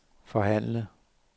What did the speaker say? forhandle